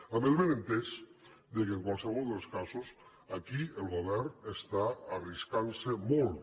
amb el benentès que en qualsevol dels casos aquí el govern està arriscant se molt